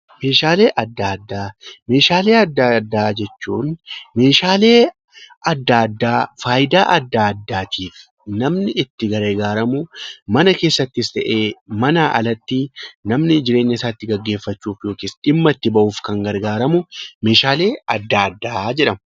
Meeshaalee adda addaa jechuun meeshaalee adda addaa faayidaa adda addaatiif namni itti gargaaramu, mana keessattis ta'e, manaa alatti namni jireenya isaa gaggeeffachuuf yookiin dhimma itti bahuuf kan gargaaramu meeshaalee adda addaa jedhamu.